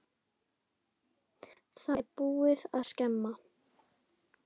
Það er búið að skemma.